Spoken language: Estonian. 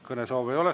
Kõnesoove ei ole.